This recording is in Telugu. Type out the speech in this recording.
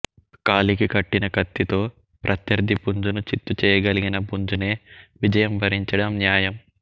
కాలికి కట్టిన కత్తితో ప్రత్యర్థి పుంజును చిత్తు చేయగలిగిన పుంజునే విజయం వరించడం న్యాయం